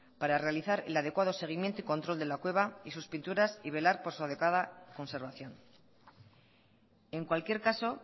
para realizar el adecuado seguimiento y control de la cueva y sus pinturas y velar por su adecuada conservación en cualquier caso